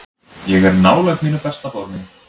Ég er nálægt mínu besta formi.